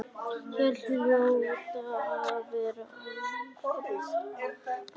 Hér hljóta að vera álfar.